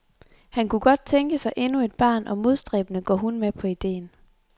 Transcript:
Han kunne godt tænke sig endnu et barn og modstræbende går hun med på ideen.